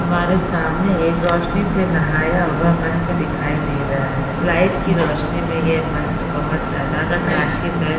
हमारे सामने एक रोशनी से नहाया हुआ मंच दिखाई दे रहा है। लाइट की रोशनी मे यह मंच बहुत ज्यादा प्रकाशित है।